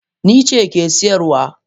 Nice ke siyarwa.